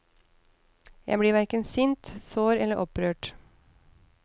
Jeg blir hverken sint, sår eller opprørt.